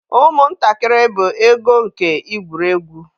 Ụmụntakịrị bụ ego nke igwuri egwu.